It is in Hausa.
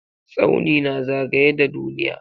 Tsauni na zagaye da duniya.